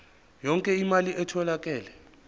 yonke imali etholakele